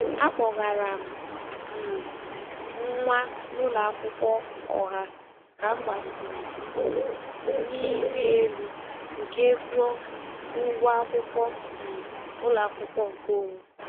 A kpọgara m um nwa n'ụlọakwụkwọ ọha ka m gbasịrị mbọ n'ịrị elu nke ego ụgwọ akwụkwọ um ụlọakwụkwọ nke onwe.